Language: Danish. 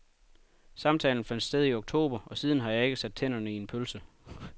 Samtalen fandt sted i oktober, og siden har jeg ikke sat tænderne i en pølse.